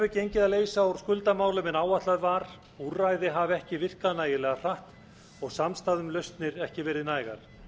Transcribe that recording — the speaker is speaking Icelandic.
hefur gengið að leysa úr skuldamálum en áætlað var úrræði hafa ekki virkað nægilega hratt og samstaða um lausnir ekki verið nægar